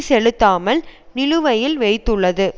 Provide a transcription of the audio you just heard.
செலுத்தாமல் நிலுவையில் வைத்துள்ளது